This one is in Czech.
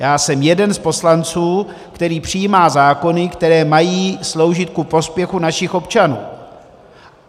Já jsem jeden z poslanců, který přijímá zákony, které mají sloužit ku prospěchu našich občanů.